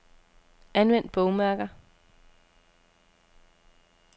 Anvend bogmærker.